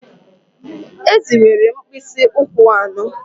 Ezì nwere mkpịsị ụkwụ anọ